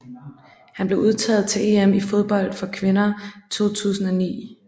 Hun blev udtaget til EM i fodbold for kvinder 2009